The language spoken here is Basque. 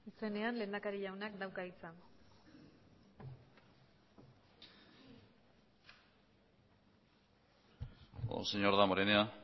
izenean lehendakari jaunak dauka hitza señor damborenea